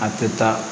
A tɛ taa